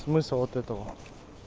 смысл вот этого